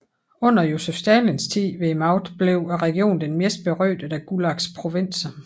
Under Josef Stalins tid ved magten blev regionen den mest berygtede af Gulags provinser